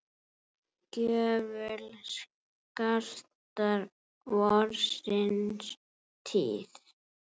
gjöful skartar vorsins tíð.